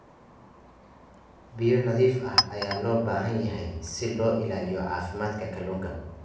Biyo nadiif ah ayaa loo baahan yahay si loo ilaaliyo caafimaadka kalluunka.